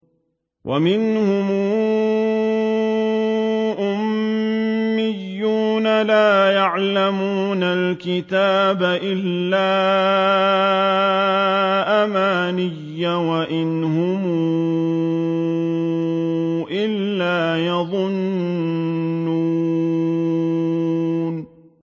وَمِنْهُمْ أُمِّيُّونَ لَا يَعْلَمُونَ الْكِتَابَ إِلَّا أَمَانِيَّ وَإِنْ هُمْ إِلَّا يَظُنُّونَ